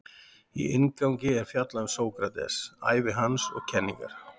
Í inngangi er fjallað um Sókrates, ævi hans og kenningar.